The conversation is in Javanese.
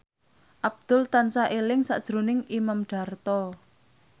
Abdul tansah eling sakjroning Imam Darto